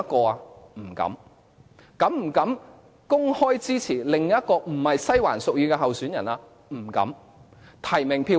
是否有膽量公開支持另一位並非西環屬意的候選人？